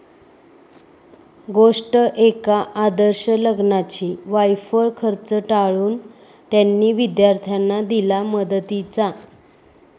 गोष्ट एका आदर्श लग्नाची! वायफळ खर्च टाळून 'त्यांनी' विद्यार्थ्यांना दिला मदतीचा